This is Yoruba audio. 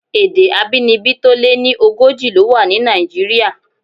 Èdè abínibí tó lé ní ogójì ló wà ní Nàìjíríà.